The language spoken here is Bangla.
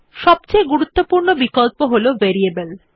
সবথেকে গুরুত্বপূর্ণ বিকল্প হল ভেরিয়েবল